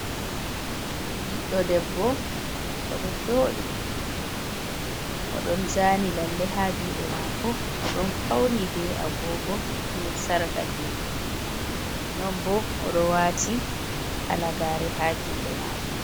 Ɓiɗɗo debbo oɗo joɗi oɗon zani lalle haa juɗe maako, oɗon fauni be agogo be sarka juɗe, non bo oɗo waati halagare haa juɗe maako.